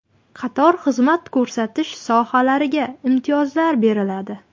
Qator xizmat ko‘rsatish sohalariga imtiyozlar beriladi.